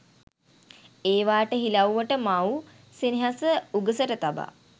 ඒවාට හිලව්වට මව් සෙනෙහස උගසට තබා